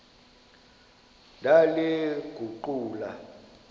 ndaliguqula